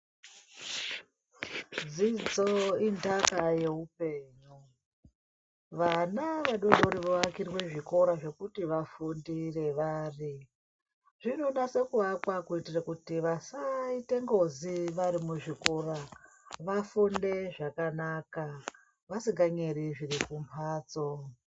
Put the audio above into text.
Dzidzo indaka yehupenyu vana vadodori vovakurwa zvikoro zvekuti vafundire vari zvinoda kuakwa kuti vasaita ngozi vari kuzvikora vafunde zvakanaka vasinganyeri zviri kumbatso.